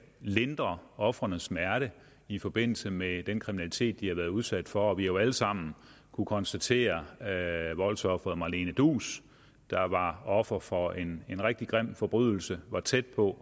lindre ofrenes smerte i forbindelse med den kriminalitet de været udsat for vi har jo alle sammen kunnet konstatere at voldsofferet marlene duus der var offer for en rigtig grim forbrydelse var tæt på